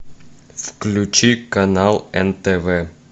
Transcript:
включи канал нтв